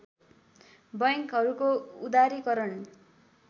बैङ्कहरूको उदारीकरण